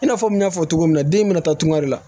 I n'a fɔ n y'a fɔ cogo min na den bɛna taa tunga de la